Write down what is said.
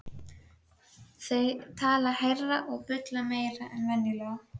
Þau tala hærra og bulla meira en venjulega.